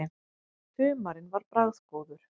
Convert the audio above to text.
Humarinn var bragðgóður.